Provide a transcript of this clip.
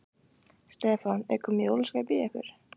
Stefán: Er komið jólaskap í ykkur?